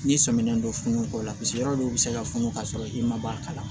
N'i sɔminen don funu kɔrɔ la paseke yɔrɔ dɔw bɛ se ka funu k'a sɔrɔ i ma bɔ a kala